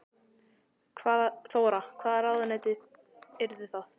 Þóra: Hvaða ráðuneyti yrðu það?